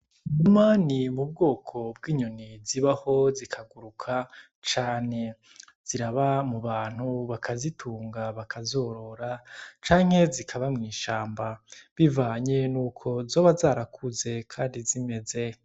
Imani iri mu bwoko bw'inyoni zibaho zikaguruka cane. Ziraba mu bantu bakazitunga bakazorora, canke zikaba mw'ishamba bivanye n'uko zoba zarakuze kandi zimeze.